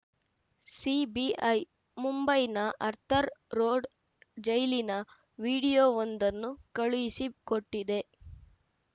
CBI ಮುಂಬೈನ Arthur road ಜೈಲಿನ ವಿಡಿಯೋವೊಂದನ್ನು ಕಳುಹಿಸಿಕೊಟ್ಟಿದೆ